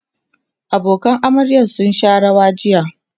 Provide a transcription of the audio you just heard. abokanan amaryar sun Sha rawa jiya